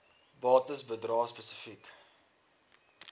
bates bedrae spesifiek